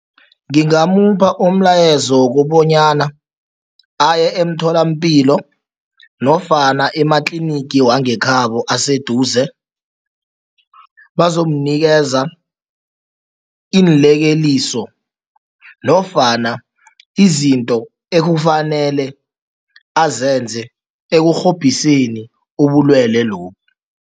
Ngingamupha umlayezo wokobonyana aye emtholampilo nofana ematlinigi wangekhabo aseduze, bazomnikeza iinlekeliso nofana izinto ekufanele azenze ekurhobhiseni ubulwelwe lobu.